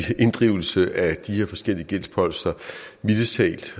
inddrivelse af de her forskellige gældsposter mildest talt